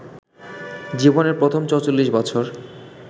জীবনের প্রথম ৪৪ বছর